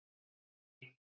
Steini